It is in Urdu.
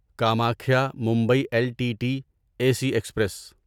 Kamakhya Mumbai L T T A C express